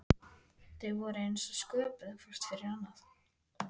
Þau voru eins og sköpuð hvort fyrir annað.